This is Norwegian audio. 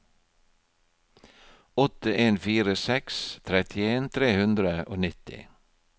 åtte en fire seks trettien tre hundre og nitti